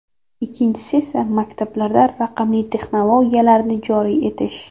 Ikkinchisi esa maktablarda raqamli texnologiyalarni joriy etish.